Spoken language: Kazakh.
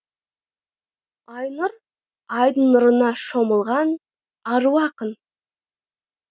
айнұр айдың нұрына шомылған ару ақын